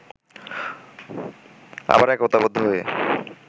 আবারও একতাবদ্ধ হয়ে